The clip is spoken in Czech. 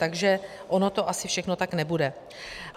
Takže ono to asi všechno tak nebude.